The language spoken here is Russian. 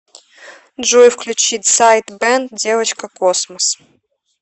джой включи дсайд бэнд девочка космос